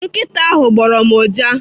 Nkịta ahụ gbọrọ m ụja.